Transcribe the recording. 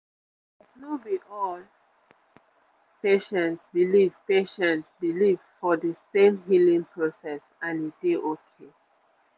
like no be all patients believe patients believe for de same healing process and e dey okay